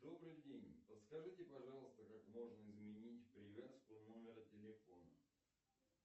добрый день подскажите пожалуйста как можно изменить привязку номера телефона